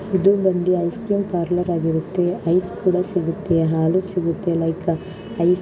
ಇದು ಬಂದಿ ice cream parlour ಆಗಿರುತ್ತೆ ಐಸ್ ಕೂಡ ಸಿಗುತ್ತೆ ಹಾಲು ಸಿಗುತ್ತೆ ಲೈಕ್ ಹ ಐಸ್ --